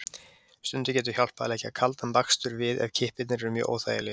Stundum getur hjálpað að leggja kaldan bakstur við ef kippirnir eru mjög óþægilegir.